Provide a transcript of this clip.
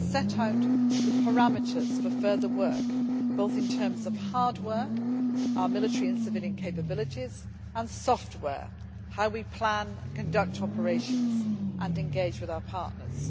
It set out the parameters for further work, both in terms of hardware our military and civilian capabilities and software how we plan and conduct operations and engage with our partners.